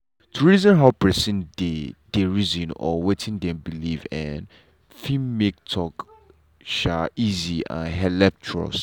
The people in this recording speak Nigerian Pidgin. to reason how person dey dey reason or wetin dem believe um fit make talk um easy and helep trust.